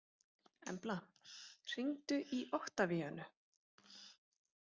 Embla, hringdu í Oktavíönu.